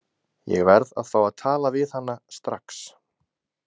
Ég verð að fá að tala við hana strax